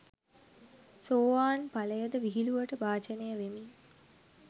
සෝවාන් ඵලයද විහිළුවට භාජනය වෙමින්